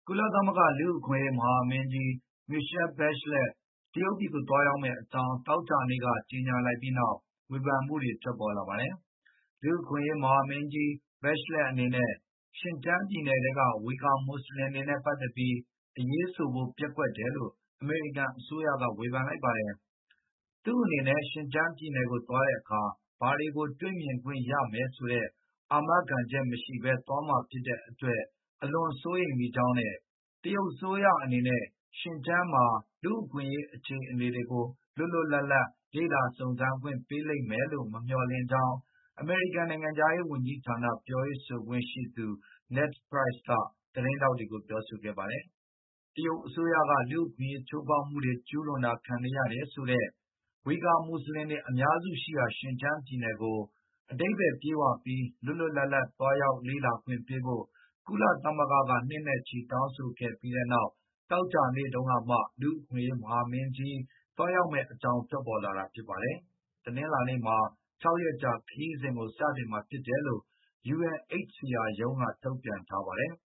ကုလသမဂ္ဂ လူ့အခွင့်အရေးမဟာမင်းကြီး Michelle Bachelet တရုတ်ပြည်သွားရောက်မယ့် အကြောင်း သောကြာနေ့က ကြေညာလိုက်ပြီးနောက် ဝေဖန်မူတွေ ထွက်ပေါ်လာပါတယ်။ လူ့အခွင့်အရေး မဟာမင်းကြီး Bachelet အနေနဲ့ ရှင်ကျန်းပြည်နယ်ထဲက ဝီဂါမွတ်ဆလင်တွေနဲ့ ပတ်သက်ပြီး အရေးဆိုဖို့ ပျက်ကွက်တယ်လို့ အမေရိကန်အစိုးရက ဝေဖန်လိုက်ပါတယ်။ သူ့အနေနဲ့ ရှင်ကျန်းပြည်နယ်သွားတဲ့အခါ ဘာတွေကိုတွေ့ မြင်ခွင့်ရမယ်ဆိုတဲ့ အာမခံချက်မရှိဘဲ သွားမှာဖြစ်တဲ့အတွက် အလွန်စိုးရိမ်မိကြောင်းနဲ့ တရုတ်အစိုးရ အနေနဲ့ ရှင်ကျန်းမှာ လူ့အခွင့်ရေး အခြေအနေတွေကို လွတ်လွတ်လပ်လေ့လာ စုံစမ်းခွင့်ပေးလိမ့်မယ်လို့ မမျှေ ာ်လင့်ကြောင်း အမေရိကန်နိုင်ငံခြားရေးဝန်ကြီးဌာန ပြောရေးဆိုခွင့်ရှိသူ Ned Price က သတင်းထောက်တွေကို ပြောဆိုခဲ့ပါတယ်။ တရုတ်အစိုးရက လူ့အခွင့်အရေးချိုးဖေါက်မှုတွေ ကျူးလွန်တာ ခံနေရတယ်လို့ဆိုတဲ့ ဝီဂါမွတ်ဆလင်တွေ အများစုရှိရာ ရှင်ကျန်းပြည်နယ်ကို အဓိပ္ပါယ်ပြည့်ဝပြီး၊ လွတ်လွတ်လပ်လပ် သွားရောက်လေ့လာခွင့်ပေးဖို့ ကုလသမဂ္ဂက နှစ်နဲ့ချီ တောင်းဆိုခဲ့ပြီးနောက် သောကြာနေ့တုံးကမှ လူ့အခွင့်အရေး မဟာမင်းကြီး သွားရောက်မယ့် အကြောင်းထွက်ပေါ်လာတာ ဖြစ်ပါတယ်။ တနင်္လာနေ့မှာ ၆ ရက်ကြာခရီးစဉ်ကို စတင်မှာဖြစ်တယ်လို့ UNHCR ရုံးကနေထုတ်ပြန်ခဲ့ပါတယ်။